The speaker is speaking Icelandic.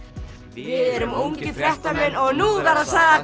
við erum ungir fréttamenn og nú verða sagðar